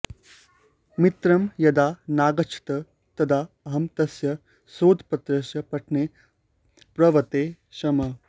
मित्रं यदा नागच्छत् तदा अहं तस्य शोधपत्रस्य पठने प्रवर्ते स्म